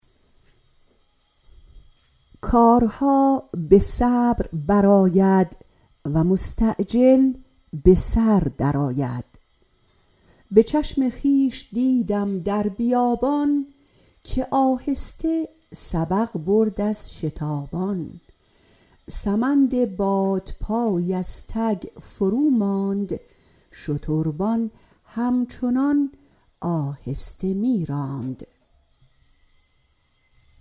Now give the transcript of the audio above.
کارها به صبر بر آید و مستعجل به سر در آید به چشم خویش دیدم در بیابان که آهسته سبق برد از شتابان سمند بادپای از تک فرو ماند شتربان هم چنان آهسته می راند